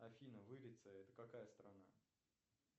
афина вырица это какая страна